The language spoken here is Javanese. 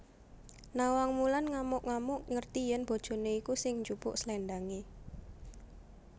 Nawangwulan ngamuk ngamuk ngerti yen bojoné iku sing jupuk sléndangé